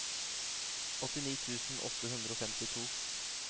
åttini tusen åtte hundre og femtito